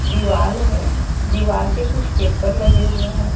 दीवाल है दीवाल पे कुछ पेपर लगे हुए हैं।